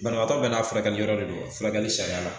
Banabaatɔ bɛɛ n'a furakɛli yɔrɔ de don furakɛli sariya la